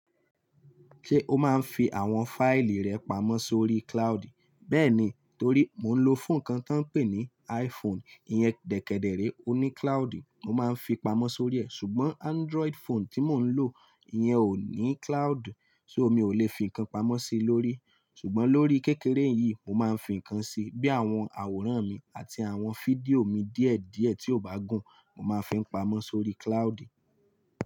Ṣé o máa ń fi àwọn fáìlì rẹ pamọ́ sórí cloud? Bẹ́ẹ̀ni, torí mo ń lo fóònù kan tó ń pè ní iPhone, ìyẹn dèkedere ó ní cloud, mo máa ń fi pamọ́ sórí ẹ̀. Ṣùgbọ́n Android phone tí mo ń lò, ìyẹn ò ní cloud, so, mi ò lè fi nǹkan pamọ́ sí i lórí. Ṣùgbọ́n lórí kékeré yìí, mo máa ń fi nǹkan sí i, bí i àwọn àwòrán mi àti àwọn fídíò mi díẹ̀ díẹ̀ tí ò bá gùn, mo máa fi ń pamọ́ sórí cloud.